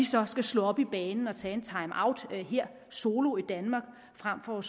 så skal slå op i banen og tage en timeout her solo i danmark frem for